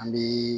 An bi